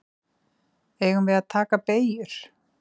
Eigum við að taka beygjur?